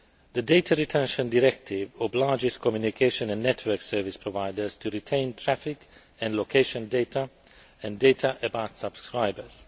The Data Retention Directive obliges communication and network service providers to retain traffic and location data and data about subscribers.